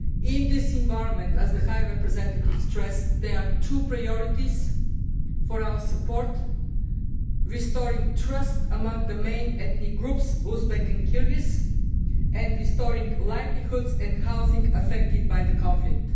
In this environment, as the High Representative stressed, there are two priorities for our support restoring trust among the main Uzbek and Kyrgyz ethnic groups and restoring the livelihoods and housing affected by the conflict.